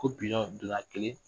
Ko bilon bila kelen